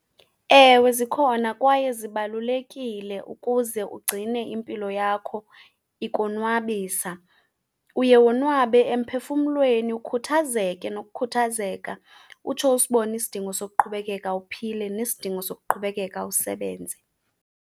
Ewe zikhona kwaye zibalulekile ukuze ugcine impilo yakho ikonwabisa. Uye wonwabe emphefumlweni ukhuthazeke nokukhuthazeka, utsho usibone isidingo sokuqhubekeka uphile nesidingo sokuqhubekeka usebenze.